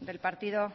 del partido